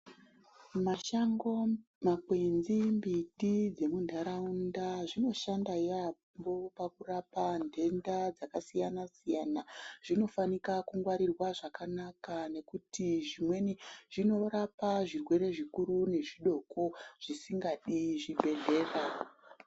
Mashango makwenzi mbiti dzemuntaraunda zvinoshanda yaampo pakurapa ntenda dzakasiyana siyana zvinofanika kungwarirwa zvakanaka ngekuti zvimweni zvinorapa zvirwere zvikuru nezvidoko zvisingadi chibhedhlera.